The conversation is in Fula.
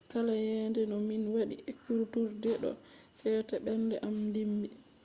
kala yende to min wadi ekkuturde do sete ɓernde am dimbi.